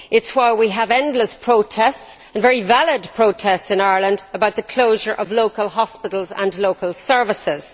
That is why we have endless protests and very valid protests in Ireland about the closure of local hospitals and local services.